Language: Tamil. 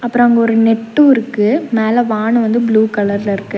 அப்றோ அங்கொரு நெட்டு இருக்கு மேல வான வந்து ப்ளூ கலர்ல இருக்கு.